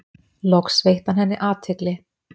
Loks veitti hann henni athygli.